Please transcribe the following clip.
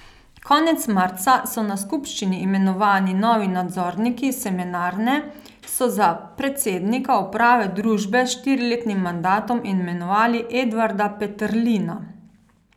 Konec marca na skupščini imenovani novi nadzorniki Semenarne so za predsednika uprave družbe s štiriletnim mandatom imenovali Edvarda Peterlina.